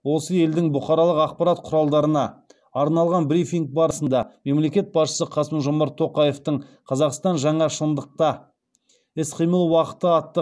осы елдің бұқаралық ақпарат құралдарына арналған брифинг барысында мемлекет басшысы қасым жомарт тоқаевтың қазақстан жаңа шындықта іс қимыл уақыты атты